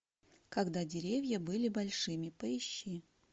когда деревья были большими поищи